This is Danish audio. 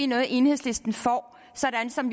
noget enhedslisten får sådan som